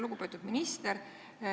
Lugupeetud minister!